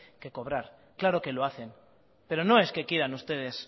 que cobrar claro que lo hacen pero no es que quieran ustedes